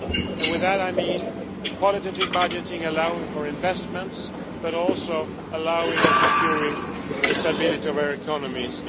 By that I mean qualitative budgeting, allowing for investments but also allowing for and securing the stability of our economies.